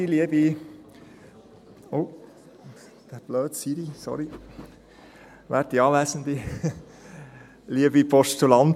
Wir haben noch den Sprecher für die EVP: Martin Aeschlimann.